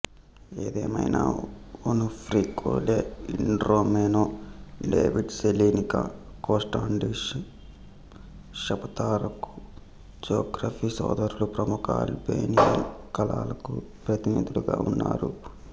ఏదేమైనా Onufri Kole Idromeno David Selenica Kostandin షపతారకు Zografi సోదరులు ప్రముఖ అల్బేనియన్ కళలకు ప్రతినిధులుగా ఉన్నారు